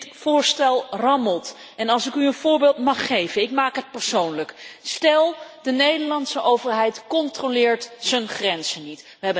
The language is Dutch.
Dit voorstel rammelt en als ik u een voorbeeld mag geven, ik maak het persoonlijk stel, de Nederlandse overheid controleert haar grenzen niet.